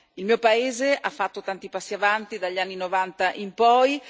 Il mio paese ha fatto tanti passi in avanti dagli anni Novanta in poi.